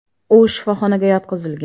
U shifoxonaga yotqizilgan.